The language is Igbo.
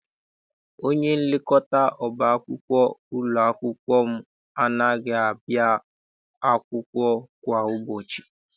Onyenlekọta ọba akwụkwọ ụlọ akwụkwọ m anaghị abịa akwụkwọ kwa ụbọchị.